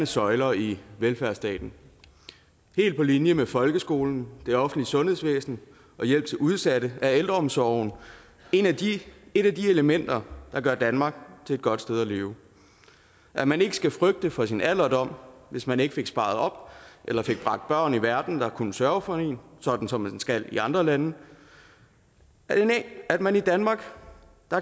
søjler i velfærdsstaten helt på linje med folkeskolen det offentlige sundhedsvæsen og hjælp til udsatte er ældreomsorgen et af de elementer der gør danmark til et godt sted at leve at man ikke skal frygte for sin alderdom hvis man ikke fik sparet op eller fik bragt børn i verden der kunne sørge for en sådan som man skal i andre lande at man i danmark